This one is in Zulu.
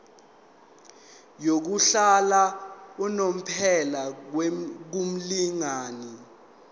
yokuhlala unomphela kumlingani